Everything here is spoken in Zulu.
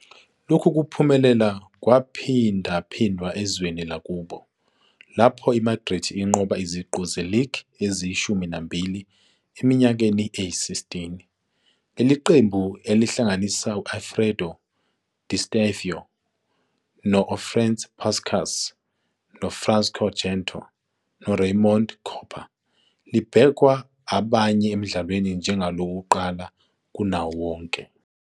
Lokhu kuphumelela kwaphindaphindwa ezweni lakubo, lapho iMadrid inqobe iziqu ze-league eziyishumi nambili eminyakeni eyi-16. Leli qembu, elihlanganisa u-Alfredo Di Stéfano, u-Ferenc Puskás, uFrancisco Gento, noRaymond Kopa, libhekwa abanye emdlalweni njengelokuqala kunawo wonke.